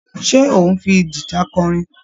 Ṣé ò ń fi gìta kọrin?